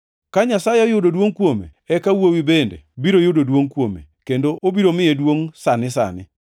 Ka Nyasaye oyudo duongʼ kuome, eka Wuowi bende biro yudo duongʼ kuome, kendo obiro miye duongʼ sani sani.